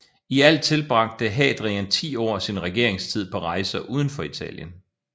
I alt tilbragte Hadrian ti år af sin regeringstid på rejser uden for Italien